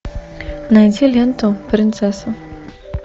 найди ленту принцесса